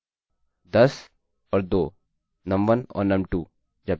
तो यह 12 है 10 और 2 num1 और num2 जब 10 और 2 को जोड़ते हैं तो उत्तर 12 होता है